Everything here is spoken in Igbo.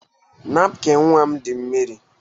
Napkịn nwa m dị mmiri.